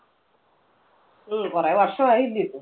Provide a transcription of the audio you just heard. ഉം കുറെ വർഷം ആയില്ലേയോ ഇത്.